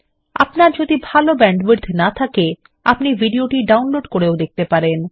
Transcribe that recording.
আপনার যদি ভাল ব্যান্ডউইডথ না থাকে আপনি ভিডিওটি ডাউনলোড করেও দেখতে পারেন